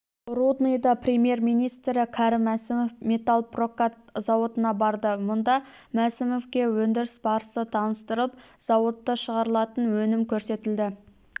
рудныйда премьер-министрі кәрім мәсімов металлпрокат зауытына барды мұнда мәсімовке өндіріс барысы таныстырылып зауытта шығарылатын өнім көрсетілді